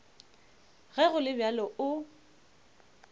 ge go le bjalo o